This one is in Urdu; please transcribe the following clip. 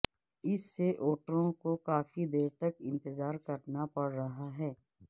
اس سے ووٹروں کو کافی دیر تک انتظار کرنا پڑ رہا ہے